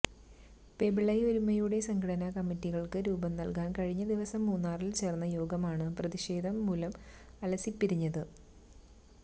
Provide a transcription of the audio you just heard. പെമ്പിളൈ ഒരുമൈയുടെ സംഘടനാ കമ്മിറ്റികൾക്ക് രൂപം നൽകാൻ കഴിഞ്ഞ ദിവസം മൂന്നാറിൽ ചേർന്ന യോഗമാണ് പ്രതിഷേധം മൂലം അലസിപ്പിരിഞ്ഞത്